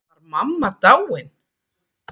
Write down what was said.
Var mamma dáin?